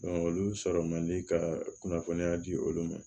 olu sɔrɔ man di ka kunnafoniya di olu ma